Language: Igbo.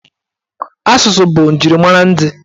Asụsụ bụ njirimara ndị.